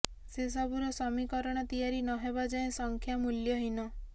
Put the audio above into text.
ସେ ସବୁର ସମୀକରଣ ତିଆରି ନହେବା ଯାଏ ସଂଖ୍ୟା ମୂଲ୍ୟହୀନ